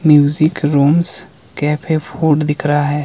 Music rooms cafe food दिख रहा है।